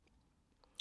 DR1